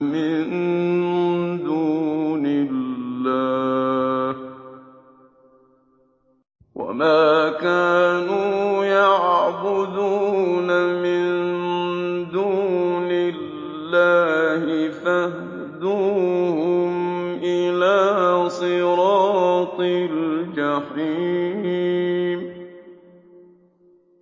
مِن دُونِ اللَّهِ فَاهْدُوهُمْ إِلَىٰ صِرَاطِ الْجَحِيمِ